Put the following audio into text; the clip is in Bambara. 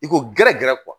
I ko gɛrɛ gɛrɛ